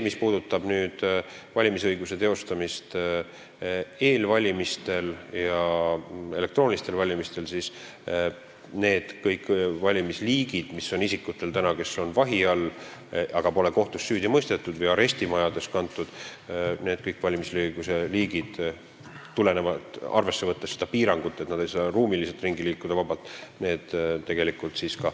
Mis puudutab valimisõiguse teostamist eelvalimistel ja elektroonilistel valimistel, siis kõik need valimisliigid, mis on praegu isikutel, kes on vahi all, aga pole kohtus süüdi mõistetud, või on arestimajades, selle täienduse koha pealt rakenduksid, kuna tuleb võtta arvesse seda piirangut, et nad ei saa ruumiliselt vabalt ringi liikuda.